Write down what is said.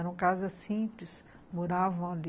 Eram casas simples, moravam ali.